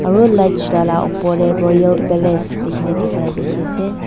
aru light chulala opor tae royal palace likhina thaka dikhiase.